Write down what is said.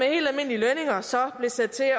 og så blev sat til at